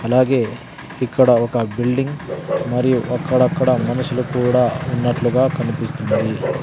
అలాగే ఇక్కడ ఒక బిల్డింగ్ మరియు అక్కడక్కడ మనుషులు కూడా ఉన్నట్లుగా కనిపిస్తుంది.